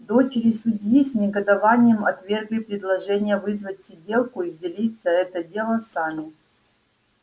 дочери судьи с негодованием отвергли предложение вызвать сиделку и взялись за это дело сами